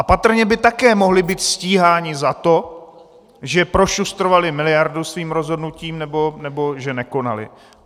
A patrně by také mohli být stíháni za to, že prošustrovali miliardu svým rozhodnutím nebo že nekonali.